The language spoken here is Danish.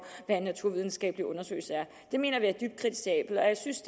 hvad en naturvidenskabelig undersøgelse er det mener vi er dybt kritisabelt jeg synes